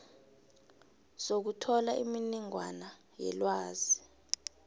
sokuthola imininingwana yelwazi